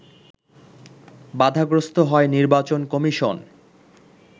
বাধাগ্রস্ত হয় নির্বাচন কমিশন